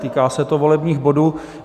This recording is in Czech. Týká se to volebních bodů.